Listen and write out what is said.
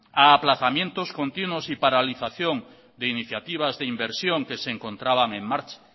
a aplazamientos continuos y paralización de iniciativas de inversión que se encontraban en marcha